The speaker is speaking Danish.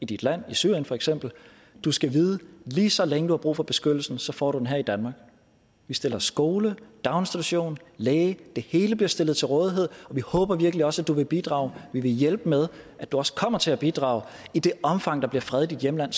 dit land i syrien for eksempel du skal vide at lige så længe du har brug for beskyttelse får du den her i danmark vi stiller skole daginstitution læge det hele stiller vi til rådighed og vi håber virkelig også at du vil bidrage vi vil hjælpe med at du også kommer til at bidrage i det omfang der bliver fred i dit hjemland